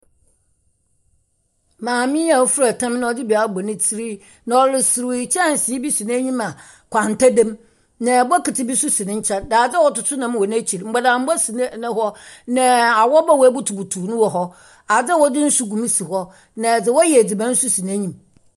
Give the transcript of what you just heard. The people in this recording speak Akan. Maame a ofura tam na ɔdze bi abɔ ne tsirmu na ɔreserew yi, kyɛnse bi si n’enyim a nkwanta da mu, na bokitsi bi so si ne nkyɛn, daadze a wɔdze toto nam wɔ n’ekyir, mbɔdambɔ si n’e no hɔ, na awɔba a woebutubutuw no wɔ hɔ. adze a wɔdze nsu gu mu si hɔ, na dza wɔyɛ edziban so si n’enyim.